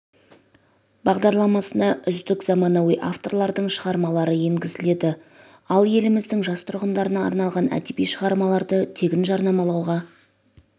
бағдарламасына үздік заманауи авторлардың шығармалары енгізіледі ал еліміздің жас тұрғындарына арналған әдеби шығармаларды тегін жарнамалауға